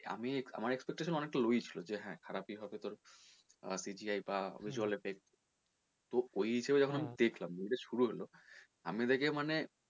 আমার expectation অনেক টা low ই ছিলো যে হ্যাঁ খারাপ ই হবে আহ CGI বা visual effect তো ওই হিসেবে আমি যখন দেখলাম movie টা শুরু হলো আমি দেখে মানে,